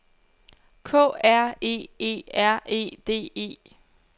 K R E E R E D E